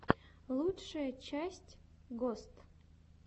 лучшая часть гост